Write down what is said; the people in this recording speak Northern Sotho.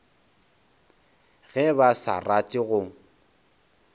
ge ba sa rate go